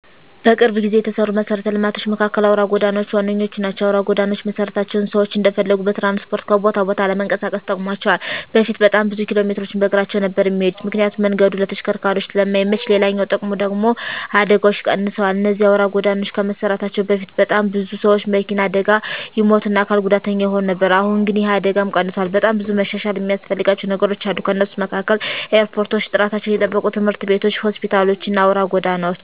በቅርብ ጊዜ የተሰሩ መሰረተ ልማቶች መካከል አውራ ጎዳናዎች ዋነኞቹ ናቸው። አውራ ጎዳናዎች መሰራታቸው ሰዎች እንደፈለጉ በትራንስፖርት ከቦታ ቦታ ለመንቀሳቀስ ጠቅሟቸዋል በፊት በጣም ብዙ ኪሎሜትሮችን በእግራቸው ነበር እሚሄዱት ምክንያቱም መንገዱ ለተሽከርካሪዎች ስለማይመች፤ ሌላኛው ጥቅሙ ደግሙ ደግሞ አደጋዎች ቀንሰዋል እነዚህ አውራ ጎዳናዎች ከመሰራታቸው በፊት በጣም ብዙ ሰዎች በመኪና አደጋ ይሞቱ እና አካል ጉዳተኛ ይሆኑ ነበር አሁን ግን ይህ አደጋም ቀንሷል። በጣም ብዙ መሻሻል እሚያስፈልጋቸው ነገሮች አሉ ከነሱም መካከል ኤርፖርቶች፣ ጥራታቸውን የጠበቁ ትምህርት ቤቶች፣ ሆስፒታሎች እና አውራ ጎዳናዎች።